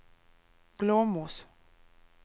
Glåmos